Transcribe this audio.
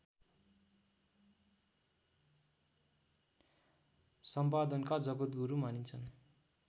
सम्पादनका जगद्गुरु मानिन्छन्